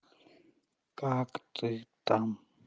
как ты там